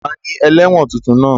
Ta ni ẹlẹ́wọ̀n tuntun náà?